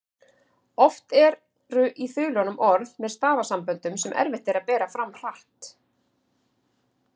Oft eru í þulunum orð með stafasamböndum sem erfitt er að bera fram hratt.